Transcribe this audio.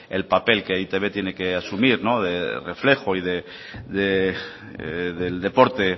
el papel que e i te be tiene que asumir de reflejo y del deporte